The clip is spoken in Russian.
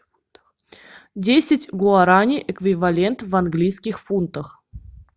десять гуарани эквивалент в английских фунтах